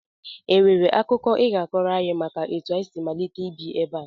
E nwere akụkọ I ga-akọrọ anyị maka etu anyị si malite ibi ebe a?